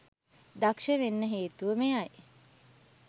දක්ෂ වෙන්න හේතුව මෙයයි